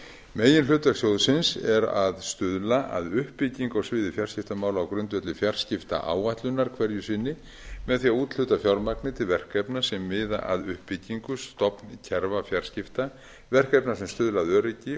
meginhlutverk sjóðsins er að stuðla að uppbyggingu á sviði fjarskiptamála á grundvelli fjarskiptaáætlunar hverju sinni með því að úthluta fjármagni til verkefna sem miða að uppbyggingu stofnkerfa fjarskipta verkefna sem stuðla að öryggi